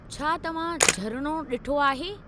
छा तव्हां झरिणो ॾिठो आहे?